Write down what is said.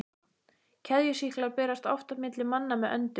Keðjusýklar berast oft milli manna með öndun.